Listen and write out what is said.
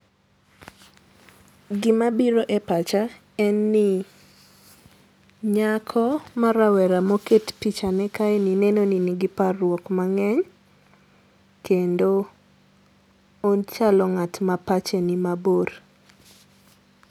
Gima biro e pacha en ni nyako ma rawera moket pichane kaeni neno ni nigi parruok mang'eny kendo ochalo ng'at mapache ni mabor.